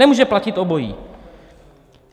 Nemůže platit obojí.